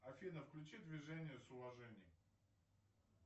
афина включи движение с уважением